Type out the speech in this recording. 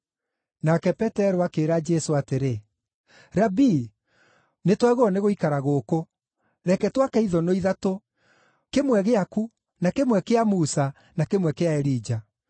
Nake Petero akĩĩra Jesũ atĩrĩ, “Rabii, nĩtwagĩrĩirwo nĩ gũikara gũkũ. Reke twake ithũnũ ithatũ, kĩmwe gĩaku, na kĩmwe kĩa Musa, na kĩmwe kĩa Elija.”